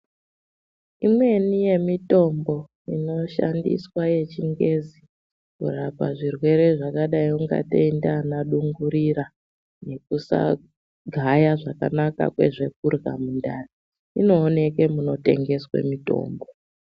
Imweni yemitombo inoshandiswa yechingezi kurapa zvirwere zvakadai nana dungurira nekusagaya zvakanaka nezvekurya mumwiri inoonekwe munotengeswa mitombo.